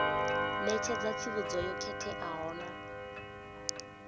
ṋetshedza tsivhudzo yo khetheaho na